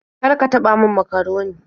Kar ka taɓa min makaroni.